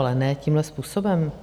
Ale ne tímhle způsobem.